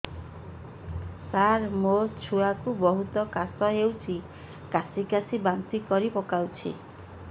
ସାର ମୋ ଛୁଆ କୁ ବହୁତ କାଶ ହଉଛି କାସି କାସି ବାନ୍ତି କରି ପକାଉଛି